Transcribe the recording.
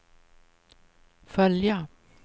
följa